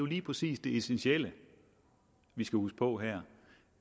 lige præcis det essentielle vi skal huske på her